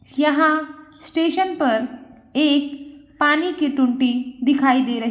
यहाँ स्टेशन पर एक पानी की टोटी दिखाई दे रही --